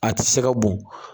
A ti se ka bon